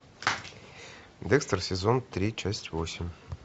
декстер сезон три часть восемь